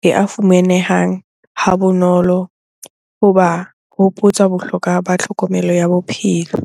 le a fumanehang ha bonolo hoba hopotsa bohlokwa ba tlhokomelo ya bophelo.